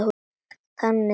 Þannig talaði hún.